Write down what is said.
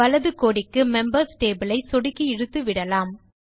வலது கோடியில் members table ஐ சொடுக்கி இழுத்து விடலாம்